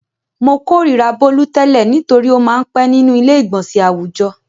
Mo kòríra Bólú tẹ́lẹ̀ nítorí ó máa ń pẹ́ nínú ilé-ìgbọnsẹ̀ àwùjọ.